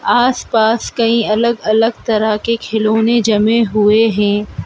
आस पास कई अलग अलग तरह के खिलौने जमे हुए हैं।